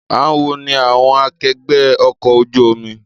Àwọn wo ni àwọn akẹgbẹ́ ọkọ̀ ojú omi